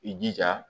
I jija